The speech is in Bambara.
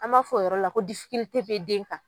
An b'a fɔ o yɔrɔ la ko bɛ den kan.